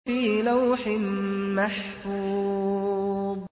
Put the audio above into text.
فِي لَوْحٍ مَّحْفُوظٍ